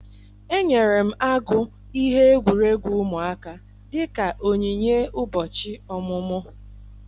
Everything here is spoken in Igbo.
Enyere m agụ ihe egwuregwu ụmụaka dịka onyinye ụbọchị ọmụmụ.